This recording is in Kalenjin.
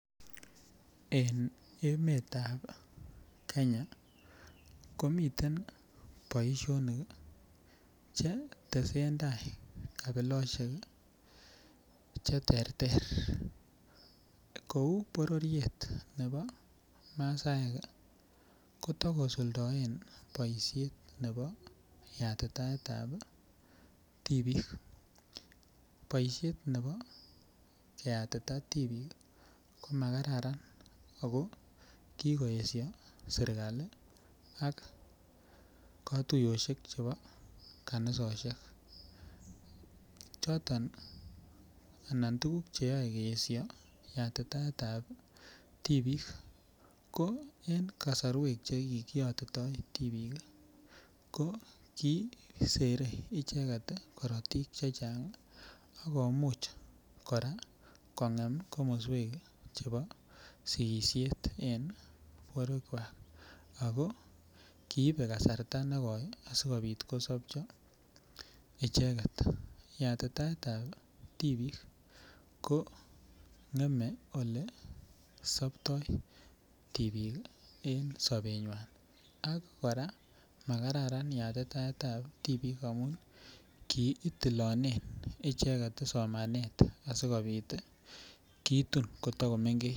En emetab kenya komiten boisionik chetesen tai kabilosiek cheterter, kou bororiet ne po masaek kotokusuldoen yatitaetab tibik boisiet ne bo keyatita tibik komakararan ako kikoesio serikali ak katuiyosiek chepo kanisosiek choton anan tukuk cheyoe keesio yatitaetab tibik ko en kasorwek chekikiyotito tibik ii ko kiisere icheket korotik chechang akomuch kora kongem komoswek chebo sikisiet en borwekwak ako kiibe kasarta nekoi asikobit kosopcho icheket yatitaetab tibik kong'eme olesoptoi tibik en sobenywan ak kora makararan yatitaetab tibik amun kiitilonen icheket somanet asikobit kitun koto komengech.